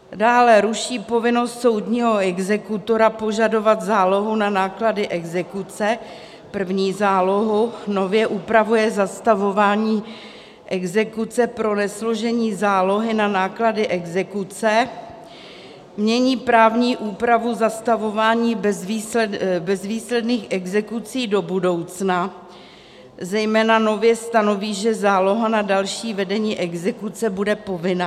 Dále ruší povinnost soudního exekutora požadovat zálohu na náklady exekuce, první zálohu, nově upravuje zastavování exekuce pro nesložení zálohy na náklady exekuce, mění právní úpravu zastavování bezvýsledných exekucí do budoucna, zejména nově stanoví, že záloha na další vedení exekuce bude povinná.